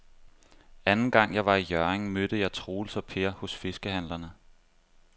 Anden gang jeg var i Hjørring, mødte jeg både Troels og Per hos fiskehandlerne.